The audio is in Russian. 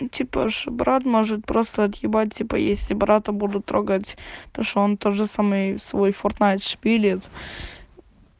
типа ж брат может просто отъебать типа если брата буду трогать то что он тоже самый свой фортнайт шпилит